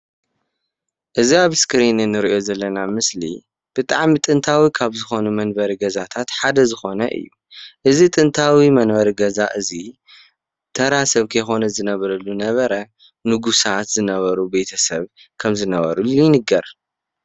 እዚ አብ እስክሪን ንሪኦ ዘለና ምስሊ ብጣዕሚ ጥንታዊ ካብ ዝኮኑ መንበሪ ገዛታት ሓደ ዝኮነ እዩ ፡፡ እዚ ጥንታዊ መንበሪ ገዛ እዚ ተራ ስብ እንተይኮነ ዝነብረሉ ነበረ ንጉሳት ዝነበሩ ቤተስብ ከም ዝነበሩ ይንገር፡፡